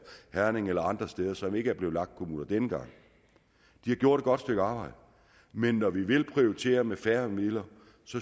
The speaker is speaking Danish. herning eller andre steder som ikke er blevet lag kommuner denne gang de har gjort et godt stykke arbejde men når vi vil prioritere med færre midler